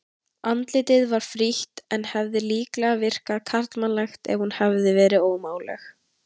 Andlitið var frítt en hefði líklega virkað karlmannlegt ef hún hefði verið alveg ómáluð.